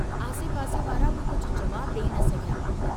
आसे पासे वारा बि कुझ जवाबु डेई न सघिया।